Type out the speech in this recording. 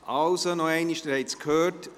Also, noch einmal, Sie haben es gehört: